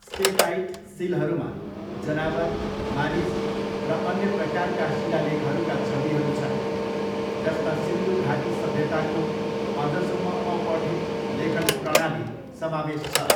Steatite सिलहरूमा जनावर, मानिस र अन्य प्रकारका शिलालेखहरूका छविहरू छन्, जसमा सिन्धु घाटी सभ्यताको अझसम्म अपठित लेखन प्रणाली समावेश छ।